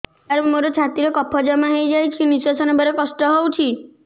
ସାର ମୋର ଛାତି ରେ କଫ ଜମା ହେଇଯାଇଛି ନିଶ୍ୱାସ ନେବାରେ କଷ୍ଟ ହଉଛି